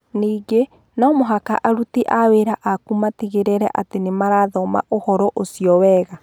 Ningĩ no mũhaka aruti a wĩra aku matigĩrĩre atĩ nĩ marathoma ũhoro ũcio wega.